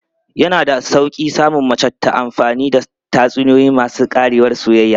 Yana da sauƙi samun mace ta amfani da tatsuniyoyi masu ƙarewar soyayya.